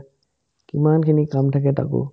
কিমানখিনি কাম থাকে তাকো